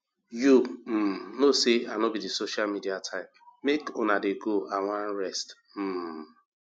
you um no say i no be the social type make una dey go i wan rest um